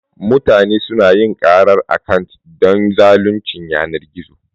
Mutane su na yin karar akant don zaluncin yanar gizo.